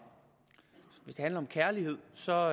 om kærlighed så